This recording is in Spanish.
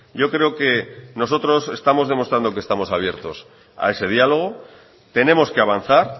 yo creo que nosotros estamos demostrando que estamos abiertos a ese diálogo tenemos que avanzar